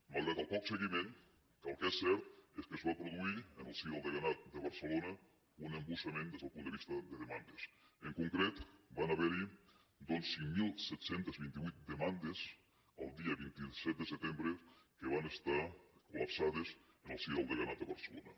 malgrat el poc seguiment el que és cert és que es va produir en el si del deganat de barcelona un embussament des del punt de vista de demandes en concret van haver hi doncs cinc mil set cents i vint vuit demandes el dia vint set de setembre que van estar col·lapsades en el si del deganat de barcelona